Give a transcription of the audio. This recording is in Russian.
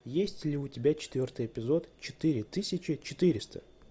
есть ли у тебя четвертый эпизод четыре тысячи четыреста